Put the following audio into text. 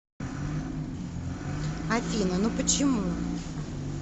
афина ну почему